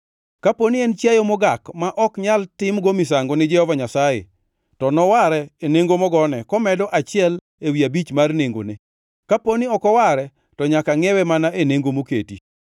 Kaponi en chiayo mogak ma ok nyal timgo misango ni Jehova Nyasaye, to noware e nengo mogone, komedo achiel ewi abich mar nengone. Kaponi ok oware to nyaka ngʼiewe mana e nengo moketi.